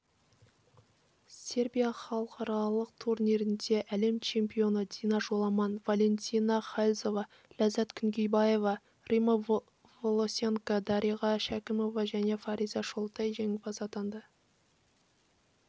сербия халықаралық турнирінде әлем чемпионы дина жоламан валентина хальзова ләззат күнгейбаева римма волосенко дариға шәкімова және фариза шолтай жеңімпаз атанды